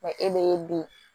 Wa e bɛ bi